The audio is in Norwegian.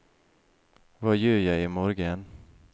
hva gjør jeg imorgen